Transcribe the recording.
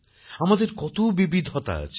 আমাদের কতবিবিধতা আছে